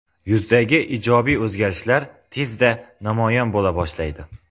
Yuzdagi ijobiy o‘zgarishlar tezda namoyon bo‘la boshlaydi.